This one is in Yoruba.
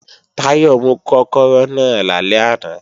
Táyọ̀ mú kọ́kọ́rọ́ náà lálẹ́ àná